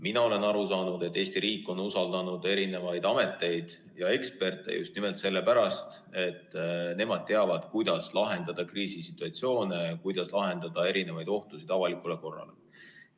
Mina olen aru saanud, et Eesti riik on usaldanud ameteid ja eksperte just nimelt sellepärast, et nemad teavad, kuidas lahendada kriisisituatsioone, kuidas kaotada ohtusid avalikule korrale.